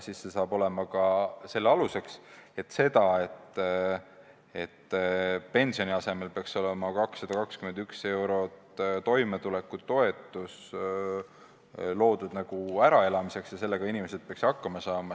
See saab olema selle seisukoha aluseks, et pensioni asemel peaks olema 221 eurot toimetulekutoetust loodud äraelamiseks ja sellega inimesed peaksid hakkama saama.